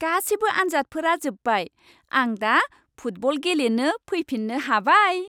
गासिबो आनजादफोरा जोब्बाय, आं दा फुटबल गेलेनो फैफिन्नो हाबाय।